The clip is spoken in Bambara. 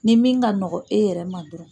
Nin min ka nɔgɔn e yɛrɛ ma dɔrɔn.